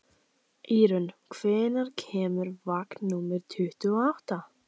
Ýrún, hvenær kemur vagn númer tuttugu og átta?